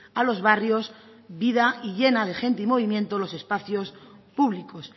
a los barrios vida y llena de gente y movimiento los espacios públicos